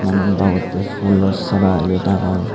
na nang baute phoolo sora eyot agon.